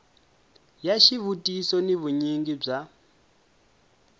ya xivutiso ni vunyingi bya